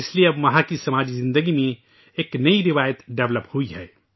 اب اس لیے وہاں کی معاشرتی زندگی میں ایک نئی روایت پروان چڑھی ہے